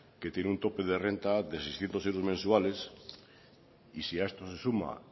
que tiene un tope de renta de seiscientos euros mensuales y si a esto se suma